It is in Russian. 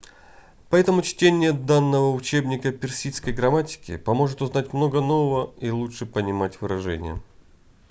поэтому чтение данного учебника персидской грамматики поможет узнать много нового и лучше понимать выражения